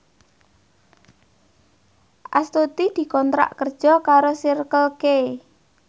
Astuti dikontrak kerja karo Circle K